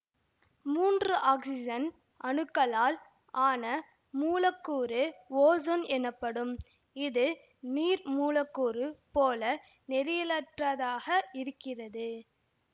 மூன்று ஆக்சிசன் அணுக்களால் ஆன மூலக்கூறு ஓசோன் எனப்படும் இது நீர் மூலக்கூறு போல நேரியலற்றதாக இருக்கிறது